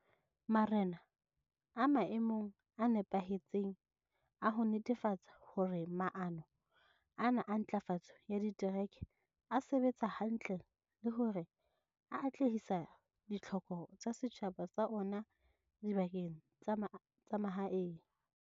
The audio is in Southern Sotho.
Marena a maemong a nepahetseng a ho netefatsa hore maano ana a ntlafatso ya ditereke a sebetsa hantle le hore a atlehisa ditlhoko tsa setjhaba sa ona dibakeng tsa mahaeng.